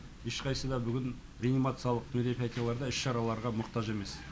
ешқайсыда бүгін реанимациялық мероприятияларға іс шараларға мұқтаж емес